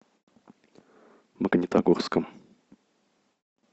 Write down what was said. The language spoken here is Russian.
магнитогорском